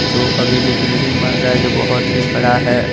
जो अभी भी बिल्डिंग बन रहा है जो बहोत ही बड़ा है।